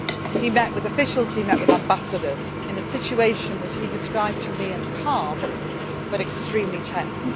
on the ground. He met with officials, he met with ambassadors, in a situation which he described to me as calm but extremely